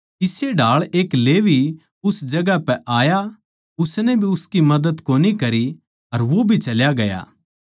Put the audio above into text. इस्से ढाळ एक लेवी उस जगहां पै आया वो भी उसकी मदद कोनी करी अर चल्या गया